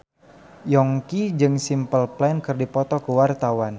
Yongki jeung Simple Plan keur dipoto ku wartawan